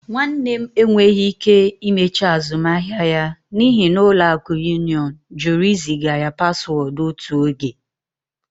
My brother could not complete his transaction because Union Bank refused to send him one-time password.